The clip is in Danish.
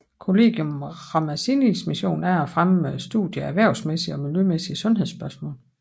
Collegium Ramazzinis mission er at fremme studiet af erhvervsmæssige og miljømæssige sundhedsspørgsmål